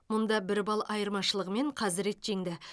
мұнда бір балл айырмашылығымен қазірет жеңді